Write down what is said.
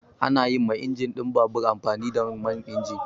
Ana yi ma injin ɗin babur amfani da man injin.